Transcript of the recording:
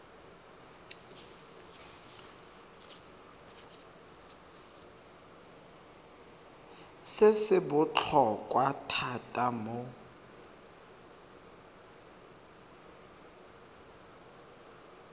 se se botlhokwa thata mo